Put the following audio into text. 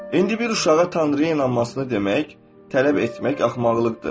İndi bir uşağa Tanrıya inanmasını demək, tələb etmək axmaqlıqdır.